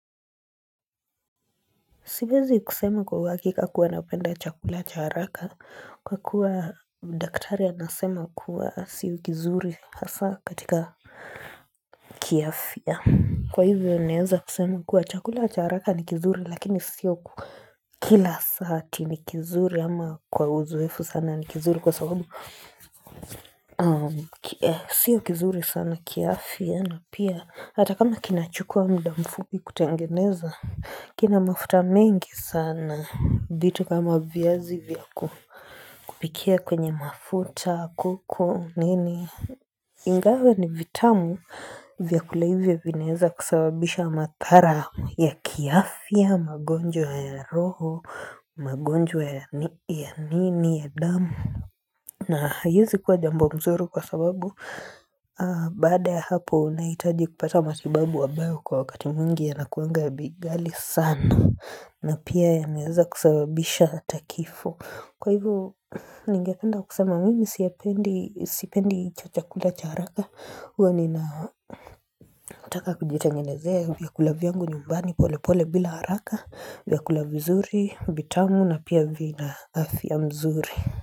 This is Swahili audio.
Siwezi kusema kwa uhakika kuwa napenda chakula cha haraka kwa kuwa daktari anasema kuwa si kizuri hasa katika kiafya. Kwa hivyo naeza kusema kuwa chakula cha haraka nikizuri lakini sio kila saa ati nikizuri ama kwa uzoefu sana nikizuri kwa sababu sio kizuri sana kiafya. Na pia, hata kama kinachukua mda mfupi kutengeneza, kina mafuta mengi sana, vitu kama via zivya kupikia kwenye mafuta, koko, nini, ingawa ni vitamu, vya kula hivyo vinaeza kusababisha madhara ya kiafya, magonjwa ya roho, magonjwa ya nini, ya damu. Na haezi kuwa jambo mzuri kwa sababu Baada ya hapo unahitaji kupata matibabu abayo kwa wakati mwingi ya nakuanga bei ghali sana na pia yanaeza kusabisha hatakifo kwa hivo ni ngependa kusema mimi sipendi hicho chakula cha haraka huwa ni na taka kujitengenezea vya kulavyangu nyumbani pole pole bila haraka vya kulavzuri vitamu na pia vina af ya mzuri.